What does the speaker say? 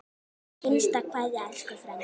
HINSTA KVEÐJA Elsku frændi.